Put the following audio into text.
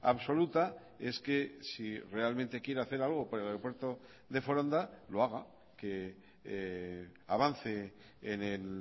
absoluta es que si realmente quiere hacer algo por el aeropuerto de foronda lo haga que avance en el